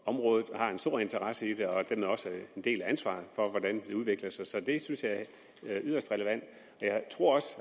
området har en stor interesse i det og dermed også en del af ansvaret for hvordan det udvikler sig så det synes jeg er yderst relevant jeg tror også